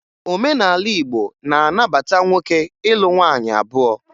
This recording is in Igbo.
Omenala Igbo na-anabata nwoke ịlụ nwaanyị abụọ